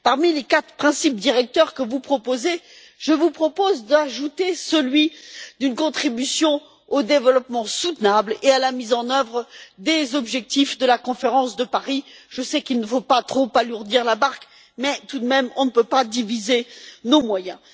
Parmi les quatre principes directeurs que vous proposez, je vous suggère d'ajouter celui d'une contribution au développement durable et à la mise en œuvre des objectifs de la conférence de Paris. Je sais qu'il ne faut pas trop alourdir la barque, mais tout de même, on ne peut pas diviser nos moyens.